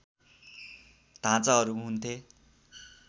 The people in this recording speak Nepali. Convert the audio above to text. ढाँचाहरू हुन्थे